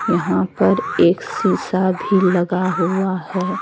यहां पर एक शीशा भी लगा हुआ है।